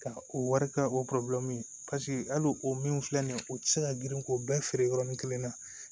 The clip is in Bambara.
Ka o wari kɛ o hali o min filɛ nin ye u tɛ se ka girin k'o bɛɛ feere yɔrɔnin kelen na